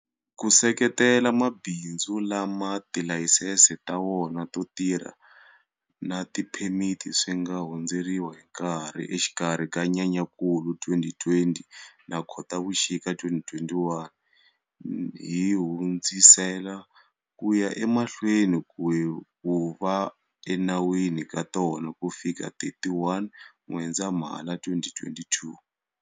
Ku seketela mabindzu lama tilayisense ta wona to tirha na tiphemiti swi nga hundzeriwa hi nkarhi exikarhi ka Nyenyankulu 2020 na Khotavuxika 2021, hi hundzisela ku ya emahlweni ku va enawini ka tona kufikela 31 N'wendzamhala 2022.